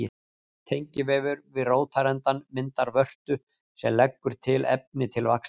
Tengivefur við rótarendann myndar vörtu sem leggur til efni til vaxtar.